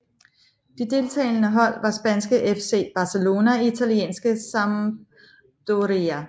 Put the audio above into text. De deltagende hold var spanske FC Barcelona og italienske Sampdoria